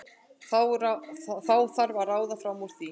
Þá þarf að ráða fram úr því.